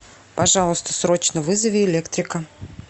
пожалуйста срочно вызови электрика